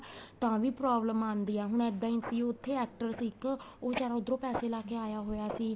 ਤਾਂ ਵੀ problem ਆਂਦੀ ਏ ਹੁਣ ਇੱਦਾਂ ਈ ਸੀ ਉਥੇ actor ਸੀ ਇੱਕ ਉਹ ਬਿਚਾਰਾ ਉੱਧਰੋ ਪੈਸੇ ਲਾ ਕੇ ਆਇਆ ਹੋਇਆ ਸੀ